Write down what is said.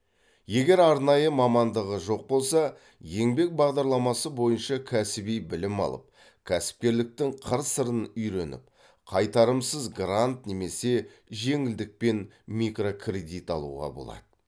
егер арнайы мамандығы жоқ болса еңбек бағдарламасы бойынша кәсіби білім алып кәсіпкерліктің қыр сырын үйреніп қайтарымсыз грант немесе жеңілдікпен микрокредит алуға болады